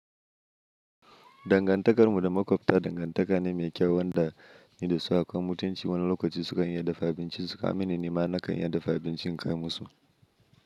Dangantakarmu da makwabta dangantaka ne mai kyau wanda ni da su akwai mutunci. Wani lokaci sukan i lya dafa abincin su ka mini, ni ma na kan iya dafa abinci in kai musu.